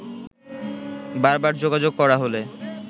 বারবার যোগাযোগ করা হলে